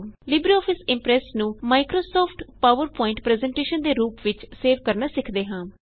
LibreOffice Impress ਨੂੰ Microsoft PowerPoint presentation ਦੇ ਰੂਪ ਵਿੱਚ ਸੇਵ ਕਰਨਾ ਸਿਖਦੇ ਹਾਂ